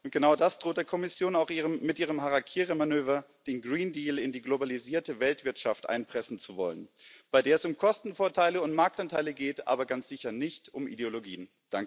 Genau das droht der Kommission auch mit ihrem Harakiri Manöver, den Green Deal in die globalisierte Weltwirtschaft einpressen zu wollen, bei der es um Kostenvorteile und Marktanteile geht, aber ganz sicher nicht um Ideologien.